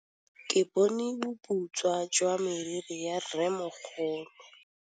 Ke bone boputswa jwa meriri ya rrêmogolo.